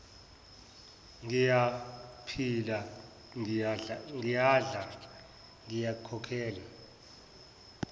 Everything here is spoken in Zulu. ngiyaphila ngiyadla ngikhokhela